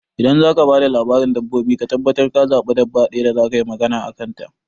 Idan zaka ba da labarin dabbobi ka tabbatar ka zaɓi dabba ɗaya da zakayi magana a kan ta